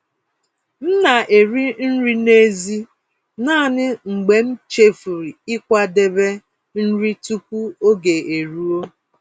M na-eri nri n'èzí naanị mgbe m chefuru ịkwadebe nri tupu oge eruo.